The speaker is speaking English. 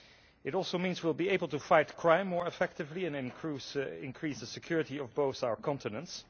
It also means we will be able to fight crime more effectively and increase the security of both our continents.